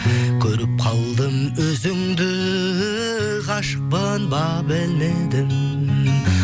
көріп қалдым өзіңді ғашықпын ба білмедім